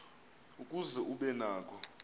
ukuze ube nako